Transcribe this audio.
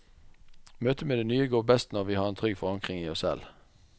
Møtet med det nye går best når vi har en trygg forankring i oss selv.